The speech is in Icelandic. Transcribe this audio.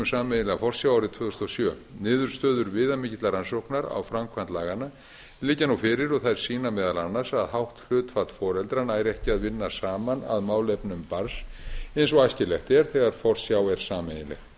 sameiginlega forsjá árið tvö þúsund og sjö niðurstöður viðamikillar rannsóknar á framkvæmd laganna liggja nú fyrir og þær sýna meðal annars að hátt hlutfall foreldra nær ekki að vinna saman að málefnum barns eins og æskilegt er þegar forsjá er sameiginleg